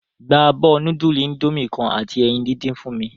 Gba abo nudulu Indomie kan ati eyin didin fun mi!